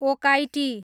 Okaiti